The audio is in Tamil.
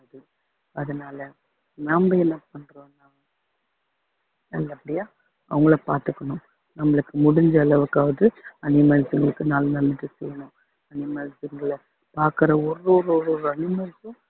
அது அதனால நம்ம என்ன பண்றோன்னா நல்லபடியா அவங்களை பாத்துக்கணும் நம்மளுக்கு முடிஞ்ச அளவுக்காவது animals ங்களுக்கு நாம் நல்லது செய்யணும் animals ங்களை பாக்குற ஒரு ஒரு ஒரு ஒரு animals உம்